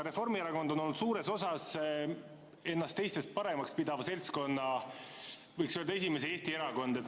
Reformierakond on olnud suures osas ennast teistest paremaks pidav seltskond, võiks öelda, et esimese Eesti erakond.